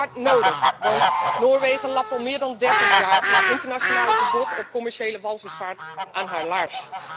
En dat is hard nodig, want Noorwegen lapt al meer dan 30 jaar het internationale verbod op commerciële walvisvaart aan zijn laars.